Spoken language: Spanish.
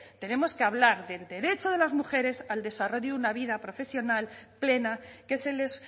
tenemos que hablar del derecho de las mujeres al desarrollo de una vida profesional plena que se les